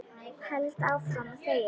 Held áfram að þegja.